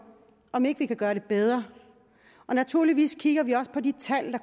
om ikke vi kan gøre det bedre og naturligvis kigger vi også på de tal